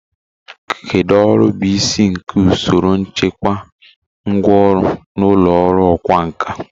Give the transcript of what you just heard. Kedu ọrụ bụ isi nke usoro nchekwa ngwá ọrụ n'ụlọ ọrụ ọkwá nkà?